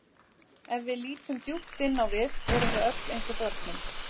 Ef við lítum djúpt inn á við erum við öll eins og börnin.